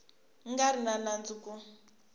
nga ri na nandzu ku